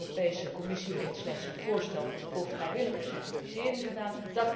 De Europese Commissie heeft slechts een voorstel voor vrijwillige certificering gedaan.